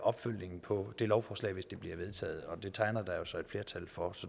opfølgning på det her lovforslag hvis det bliver vedtaget og det tegner der sig jo et flertal for